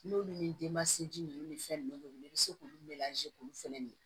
N'olu ni denmansinji ninnu ni fɛn nunnu bɛ wuli i bɛ se k'olu k'olu fɛnɛ ɲini